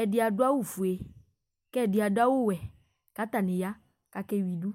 Ɛdí adu awu fʋe kʋ ɛdí adu awu wɛ kʋ atani akewidu